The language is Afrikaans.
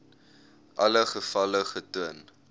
alle gevalle getoon